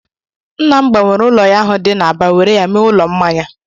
Nna m gbanwere ụlọ ya ahụ dị n'Aba were ya mee ụlọ mmanya